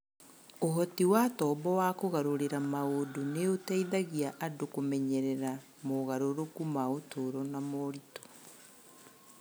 Ũhoti wa tombo wa kũgarũrĩra maũndũ nĩ ũteithagia andũ kũmenyerera mogarũrũku ma ũtũũro na moritũ.